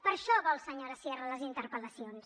per a això vol senyora sierra les interpel·lacions